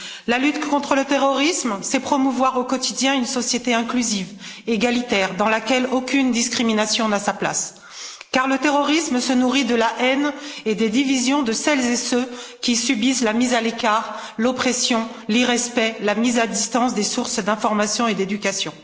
La lutte contre le terrorisme, c'est promouvoir au quotidien une société inclusive, égalitaire, dans laquelle aucune discrimination n'a sa place car le terrorisme se nourrit de la haine et des divisions de celles et ceux qui subissent la mise à l'écart, l'oppression, l'irrespect, la mise à distance des sources d'information et d'éducation.